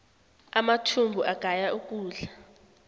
amathumbu agaya ukudla